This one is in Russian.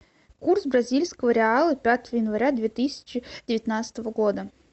курс бразильского реала пятого января две тысячи девятнадцатого года